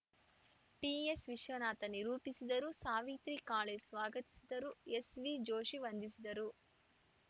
ಟಿಎಸ್ವಿಶ್ವನಾಥ ನಿರೂಪಿಸಿದರು ಸಾವಿತ್ರಿ ಕಾಳೆ ಸ್ವಾಗತಿಸಿದರು ಎಸ್ವಿ ಜೋಶಿ ವಂದಿಸಿದರು